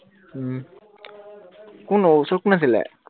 কোন আহ ওচৰত কোন আছিলে?